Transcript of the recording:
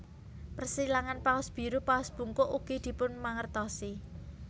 Persilangan paus biru paus bungkuk ugi dipunmangertosi